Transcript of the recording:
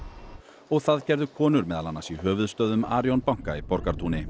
og það gerðu konur meðal annars í höfuðstöðvum Arion banka í Borgartúni